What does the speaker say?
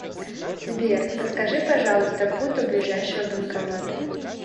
сбер подскажи пожалуйста путь до ближайшего банкомата